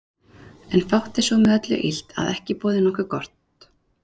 En fátt er svo með öllu illt, að ekki boði nokkuð gott.